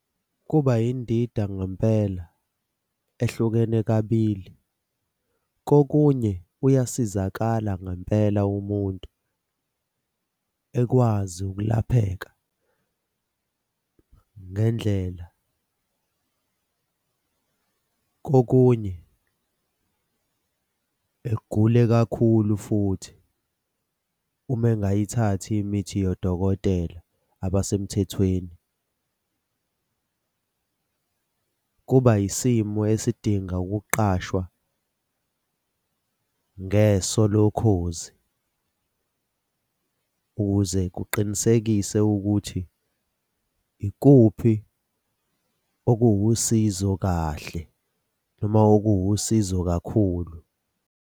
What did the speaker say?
Kuba yindida ngempela ehlukene kabili. Kokunye uyasizakala ngempela umuntu ekwazi ukulapheka ngendlela. Kokunye egule kakhulu futhi uma engayithathi imithi yodokotela abasemthethweni. Kuba yisimo esidinga ukuqashwa ngeso lokhozi ukuze kuqinisekise ukuthi ikuphi okuwusizo kahle noma okuwusizo kakhulu.